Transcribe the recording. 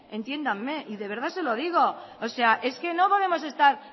entiéndame y de verdad se lo digo o sea es que no podemos estar